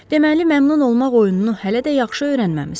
Deməli, məmnun olmaq oyununu hələ də yaxşı öyrənməmisiniz.